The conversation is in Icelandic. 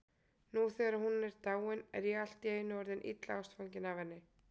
Nú þegar hún er dáin er ég allt í einu orðinn illa ástfanginn af henni.